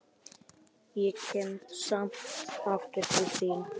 Ég kem samt aftur til þín.